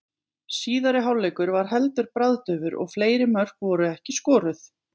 Síðari hálfleikur var heldur bragðdaufur og fleiri mörk voru ekki skoruð.